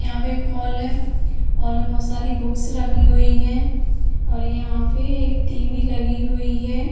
यहां पे एक हॉल है। हॉल में बहोत सारी बुक्स रखी हुई हैं और यहां पे एक टीवी लगी हुई है।